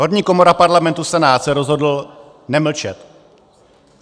Horní komora Parlamentu Senát se rozhodl nemlčet.